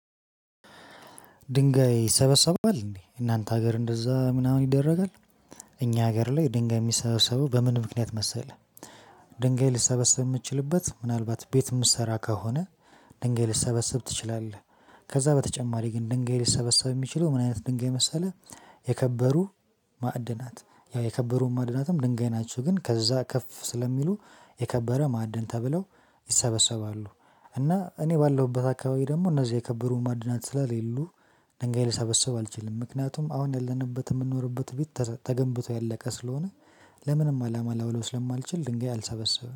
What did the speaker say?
ድንጋይ ይሰበሰባል እንዴ እናንተ ሀገር እንደዛ ምናምን ይደረጋል። እኛ ሀገር ላይ ድንጋይ የሚሰበሰበው በምን ምክንያት መሰለህ? ድንጋይ ልትሰበሰብ የምትችልበት ምናልባት ቤት የምትሰራ ከሆነ። ድንጋይ ልትሰበስብ ትችላለህ። ከዛ በተጨማሪ ግን ድንጋይ ሊሰበሰብ የሚችለው ምን አይነት ድንጋይ መሰለህ? የከበሩ ማዕድናት ያው የከበሩ ማዕድናትም ድንጋይ ናችው ግን ከዛ ከፍ ስለሚሉ የከበረ ማዕድን ተብለው ይሰበሰባሉ። እና እኔ ባለሁበት አካባቢ ደግሞ እነዚህ የከበሩ ማዕድናት ስለሌሉ ድንጋይ ልሰበስብ አልችልም። ምክንያቱም አሁን ያለንበት የምንኖርበት ቤት ተገንብቶ ያለቀ ስለሆነ። ለምንም አላማ ላውለው ስለማልችል ድንጋይ አልሰበስብም